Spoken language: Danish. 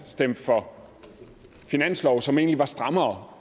stemt for finanslove som egentlig var strammere